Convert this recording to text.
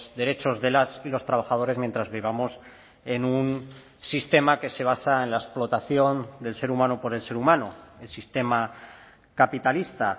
derechos de las y los trabajadores mientras vivamos en un sistema que se basa en la explotación del ser humano por el ser humano el sistema capitalista